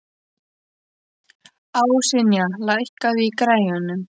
Ásynja, lækkaðu í græjunum.